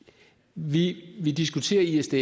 vi vi diskuterer isds